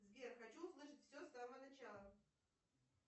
сбер хочу услышать все с самого начала